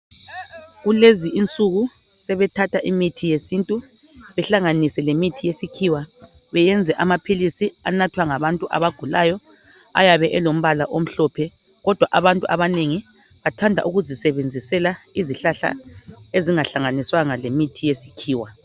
Kulezi insuku sebethatha imithi yesintu ,behlanganise lemithi yesikhiwa. Beyenze amaphilisi anathwa ngabantu abagulayo ayabe elombala omhlophe. Kodwa abantu abanengi bathanda ukuzisebenzisela izihlahla ezingahlanganiswanga lemithi yesikhiwa.